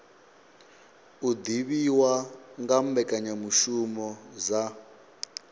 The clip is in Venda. u divhiwa nga mbekanyamishumo dza